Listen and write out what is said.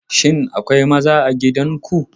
Shin akwai maza a gidan ku?